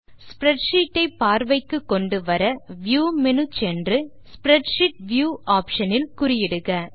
spreadsheet ஐ பார்வைக்கு கொண்டு வர வியூ மேனு ஆப்ஷன் சென்று ஸ்ப்ரெட்ஷீட் வியூ ஆப்ஷன் இல் குறியிடுக